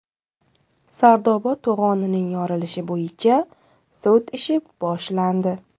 Sardoba to‘g‘onining yorilishi bo‘yicha sud ishi boshlandi.